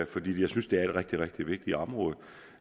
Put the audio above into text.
fordi jeg synes det er et rigtig rigtig vigtigt område